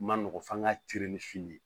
Ma nɔgɔn f'an ka ni fini ye